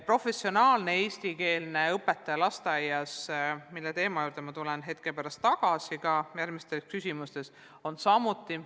Professionaalne eestikeelne õpetaja lasteaias on teema, mille juurde ma tulen hetke pärast järgmistele küsimustele vastates tagasi.